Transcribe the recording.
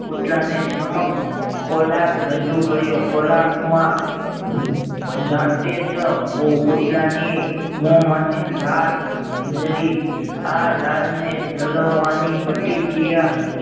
કૂતરાને સમક્ષ ખોરાક રજૂ કર્યો ખોરાકમાં જાતે જ કૂતરાની મોંમાંથી લાળ જરી આ લાળને જળવવાની પ્રતિક્રિયા